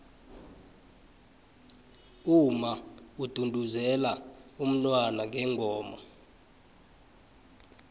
umma udunduzela umntwana ngengoma